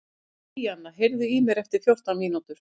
Bríanna, heyrðu í mér eftir fjórtán mínútur.